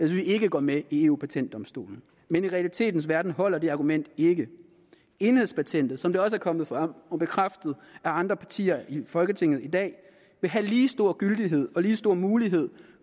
vi ikke går med i eu patentdomstolen men i realiteternes verden holder det argument ikke enhedspatentet som det også er kommet frem og bekræftet af andre partier i folketinget i dag vil have lige stor gyldighed og give lige store muligheder